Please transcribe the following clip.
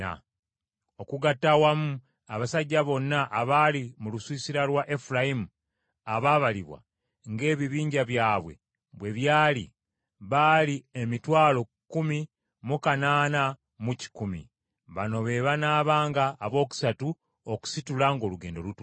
Okugatta awamu abasajja bonna abaali mu lusiisira lwa Efulayimu abaabalibwa ng’ebibinja byabwe bwe byali baali emitwalo kkumi mu kanaana mu kikumi (108,100). Bano be banaabanga abookusatu okusitula ng’olugendo lutuuse.